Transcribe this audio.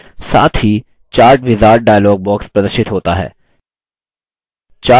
साथ ही chart wizard dialog box प्रदर्शित होता है